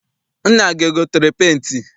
Nna gị egotere penti?